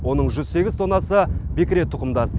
оның жүз сегіз тоннасы бекіре тұқымдас